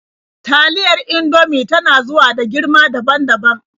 Taliyar Indomie ta na zuwa a girma daban-daban.